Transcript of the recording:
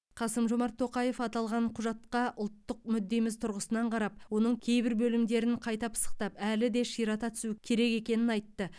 қасым жомарт тоқаев аталған құжатқа ұлттық мүддеміз тұрғысынан қарап оның кейбір бөлімдерін қайта пысықтап әлі де ширата түсу керек екенін айтты